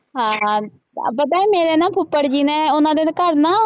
ਹਾਂ ਪਤਾ ਹੈ ਮੇਰੇ ਨਾ ਫੁੱਫੜ ਜੀ ਨੇ ਉਹਨਾ ਦੇ ਘਰ ਨਾ